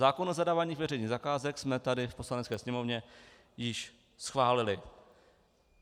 Zákon o zadávání veřejných zakázek jsme tady v Poslanecké sněmovně již schválili.